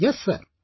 Yes sir